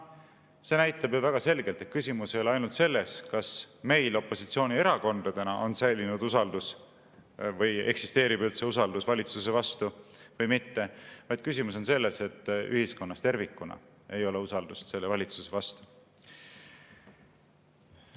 See näitab väga selgelt, et küsimus ei ole ainult selles, kas meil opositsioonierakondadena on säilinud usaldus või kas eksisteerib üldse usaldus valitsuse vastu või mitte, vaid küsimus on selles, et ühiskonnas tervikuna ei ole usaldust selle valitsuse vastu.